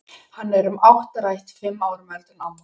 Hann er um áttrætt, fimm árum eldri en amma.